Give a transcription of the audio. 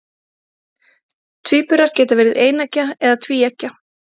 tvíburar geta verið eineggja eða tvíeggja